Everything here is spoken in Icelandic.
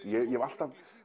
ég hef alltaf